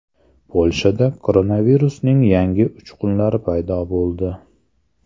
Polshada koronavirusning yangi uchqunlari paydo bo‘ldi.